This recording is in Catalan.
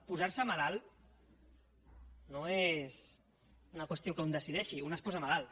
posar se malalt no és una qüestió que un decideixi un es posa malalt